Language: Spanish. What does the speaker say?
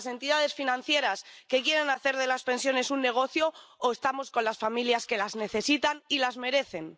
¿Con las entidades financieras que quieren hacer de las pensiones un negocio o estamos con las familias que las necesitan y las merecen?